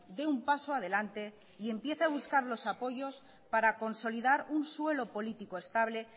dé un paso adelante y empiece a buscar los apoyos para consolidar un suelo político estable